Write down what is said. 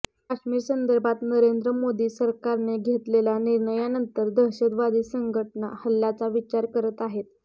काश्मीरसंदर्भात नरेंद्र मोदी सरकारने घेतलेल्या निर्णयानंतर दहशतवादी संघटना हल्ल्याचा विचार करत आहेत